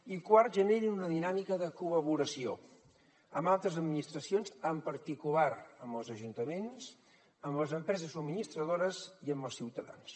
i quart generin una dinàmica de col·laboració amb altres administracions en particular amb els ajuntaments amb les empreses subministradores i amb els ciutadans